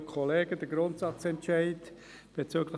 Den Grundsatzentscheid bezüglich